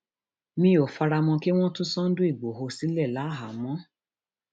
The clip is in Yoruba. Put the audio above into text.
mi ò fara mọ kí wọn tú sunday igbodò sílẹ káàámọ